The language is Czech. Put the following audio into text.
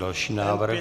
Další návrh.